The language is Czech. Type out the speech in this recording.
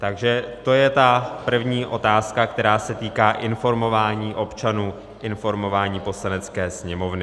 Takže to je ta první otázka, která se týká informování občanů, informování Poslanecké sněmovny.